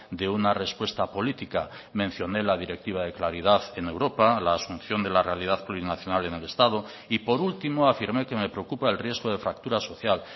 de una respuesta política mencioné la directiva de claridad en europa la asunción de la realidad plurinacional en el estado y por último afirmé que me preocupa el riesgo de fractura social